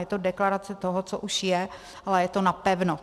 Je to deklarace toho, co už je, ale je to tzv. napevno.